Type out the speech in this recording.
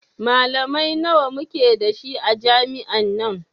Malamai nawa muke da shi a jami'an nan